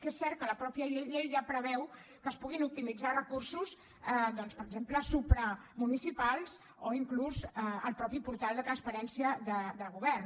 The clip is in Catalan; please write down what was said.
que és cert que la mateixa llei ja preveu que es puguin optimitzar recursos doncs per exemple supramunicipals o fins i tot el mateix portal de transparència del govern